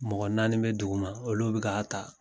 Mɔgɔ naani bɛ dugu ma olu bɛ ka ta.